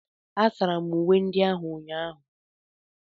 Asara m uwe ndị ahu n'ụnyaahụ.